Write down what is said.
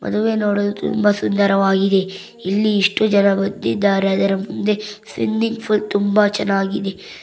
ಮದುವೆ ನೋಡು ತುಂಬ ಸುಂದರವಾಗಿದೆ ಇಲ್ಲಿ ಇಷ್ಟು ಜನ ಬಂದಿದ್ದಾರೆ ಅದರ ಮುಂದೆ ಸ್ವಿಮ್ಮಿಂಗ್ ಪೂಲ್ ತುಂಬ ಚೆನ್ನಾಗಿದೆ.